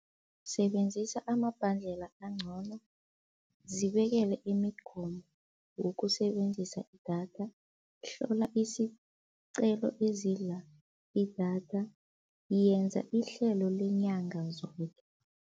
Sebenzisa amabhandlela ancono, zibekele imigomo wokusebenzisa idatha, hlola isiqelo ezidla idatha, yenza ihlelo lenyanga zoke.